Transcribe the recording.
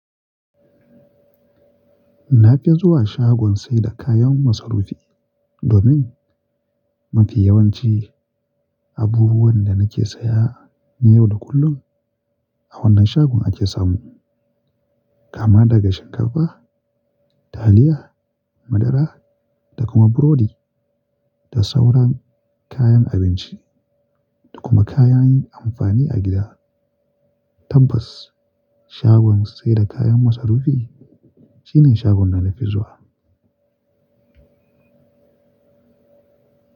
Na fi zuwa shagon saida kayan masarufi domin mafi yawanci abubuwan da na ke saya na yau da kullum a wannan shagon ake samu. Kama daga shinkafa, taliya, madara da kuma burodi da sauran kayan abinci da kuma kayan amfani a gida. Tabbas shagon saida kayan masarufi shine shagon da na fi zuwa.